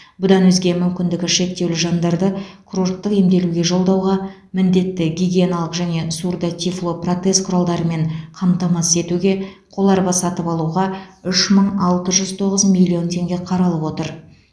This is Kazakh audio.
бұдан өзге мүмкіндігі шектеулі жандарды курорттық емделуге жолдауға міндетті гигиеналық және сурдо тифло протез құралдарымен қамтамасыз етуге қоларба сатып алуға үш мың алты жүз тоғыз миллион теңге қаралып отыр